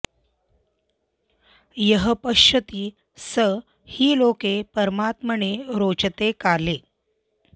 यः पश्यति स हि लोके परात्मने रोचते काले